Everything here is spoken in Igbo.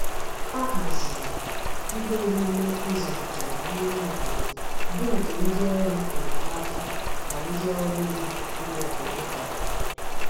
A haziri ihe omume izo njem n'ime obodo bu nke ndi órú enyemaka na ndi órú iwu ime obodo kwadoro.